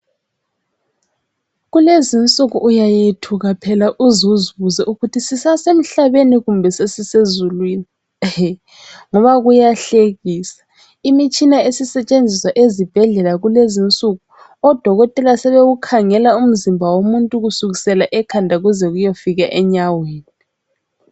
Kulezinsuku uyayethuka phela uz'uzibuze ukuthi sisa semhlabeni kumbe sesisezulwini. Ehe! ngoba kuyahlekisa, imitshina esisetshenziswa ezibhedlela kulezi nsuku. Odokoteka sebewukhangela umzimba womuntu kusukisela ekhanda kuze kuyefika enyaweni.